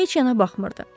heç yana baxmırdı.